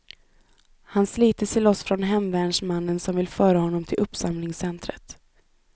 Han sliter sig loss från hemvärnsmännen som vill föra honom till uppsamlingscentret.